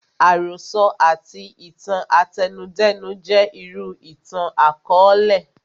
Àròsọ àti itan àtẹnudẹ́nu jẹ́ irú ìtàn àkọọlẹ